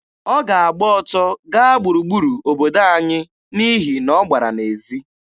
Ọ ga-agba ọtọ gaa gburugburu obodo anyị n'ihi na ọ gbara n'ezi.